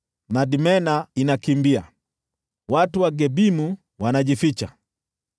Madmena inakimbia; watu wa Gebimu wanajificha.